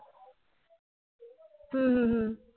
হু হু হু